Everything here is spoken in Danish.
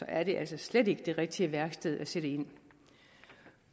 er det altså slet ikke det rigtige værktøj at sætte ind med